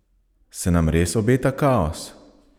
Se nam res obeta kaos?